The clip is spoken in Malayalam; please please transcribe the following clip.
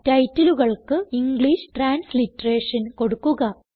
titleകൾക്ക് ഇംഗ്ലീഷ് ട്രാൻസ്ലിറ്ററേഷൻ കൊടുക്കുക